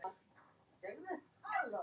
Þetta er allt í lagi, svarar hann.